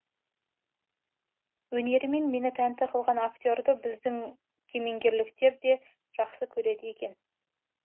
өнерімен мені тәнті қылған актерді біздің кемеңгерліктер де жақсы көреді екен